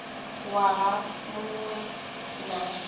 waha mu ṅ we na